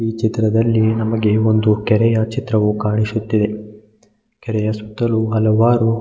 ಈ ಚಿತ್ರದಲ್ಲಿ ನಮಗೆ ಒಂದು ಕೆರೆಯ ಚಿತ್ರವು ಕಾಣಿಸುತ್ತಿದೆ ಕೆರೆಯ ಸುತ್ತಲು ಹಲವಾರು.